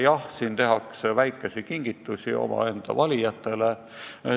Jah, selles tehakse väikesi kingitusi oma valijatele.